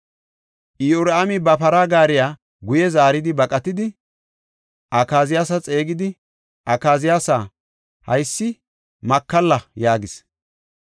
Iyoraami ba para gaariya guye zaaridi baqatidi, Akaziyaasa xeegidi, “Akaziyaasa, haysi makalla” yaagis.